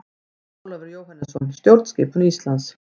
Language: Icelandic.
Ólafur Jóhannesson: Stjórnskipun Íslands.